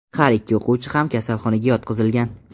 Har ikki o‘quvchi ham kasalxonaga yotqizilgan.